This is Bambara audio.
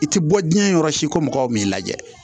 I tɛ bɔ diɲɛ yɔrɔ si ko mɔgɔw m'i lajɛ